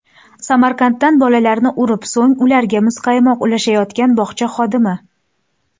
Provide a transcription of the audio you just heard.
Samarqanddan Bolalarni urib, so‘ng ularga muzqaymoq ulashayotgan bog‘cha xodimi.